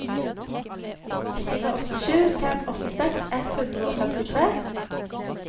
fire åtte sju fem åttiseks ett hundre og femtitre